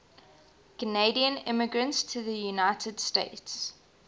canadian immigrants to the united states